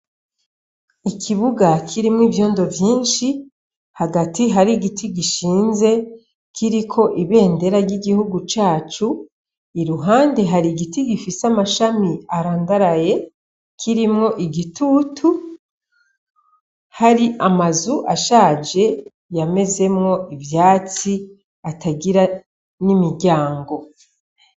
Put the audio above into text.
Ikibuga kirimwo ivyondo vyinshi, hagati hari igiti gishinze, kiriko ibendera ry'igihugu cacu, iruhande hari igiti gifise amashami arandaraye kirimwo igitutu, hari amazu ashaje yamezemwo ivyatsi atagira n'imiryango.